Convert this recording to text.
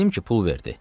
Bildim ki, pul verdi.